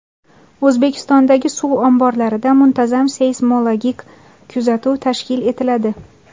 O‘zbekistondagi suv omborlarida muntazam seysmologik kuzatuv tashkil etiladi.